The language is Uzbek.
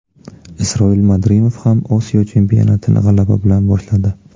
Isroil Madrimov ham Osiyo chempionatini g‘alaba bilan boshladi .